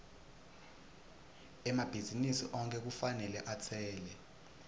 emabhizinisi onkhe kufanele atsele